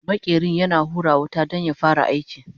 maƙerin yana hura wuta Dan ya fara aiki